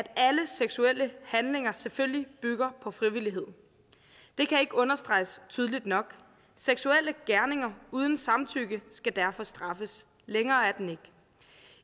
alle seksuelle handlinger selvfølgelig bygger på frivillighed det kan ikke understreges tydeligt nok seksuelle gerninger uden samtykke skal derfor straffes længere er den ikke